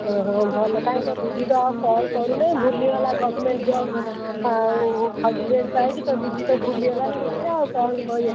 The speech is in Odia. ଓହୋ ଭଲ କାଇଁ ତୋ ଦିଦି ତ ଆଉ call କରୁନେଇଁ ଭୁଲିଗଲା government job ଆଉ husband ପାଇକି ତୋ ଦିଦି ତ ଭୁଲିଗଲାଣି ମତେ ଆଉ କଣ କହିଆ।